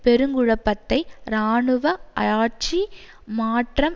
பெருங்குழப்பத்தை இராணுவ ஆட்சி மாற்றம்